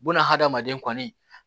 Bunahadamaden kɔni